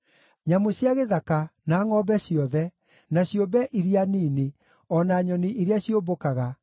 nyamũ cia gĩthaka, na ngʼombe ciothe, na ciũmbe iria nini, o na nyoni iria ciũmbũkaga,